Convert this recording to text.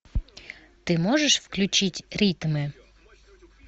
ты можешь включить ритмы